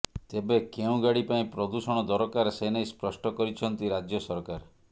ତେବେ କେଉଁ ଗାଡି ପାଇଁ ପ୍ରଦୂଷଣ ଦରକାର ସେନେଇ ସ୍ପଷ୍ଟ କରିଛନ୍ତି ରାଜ୍ୟ ସରକାର